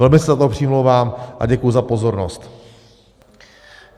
Velmi se za to přimlouvám a děkuji za pozornost.